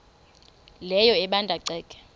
leyo ebanda ceke